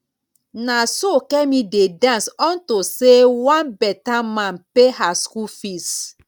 na so kemi dey dance unto say one beta man pay her school fees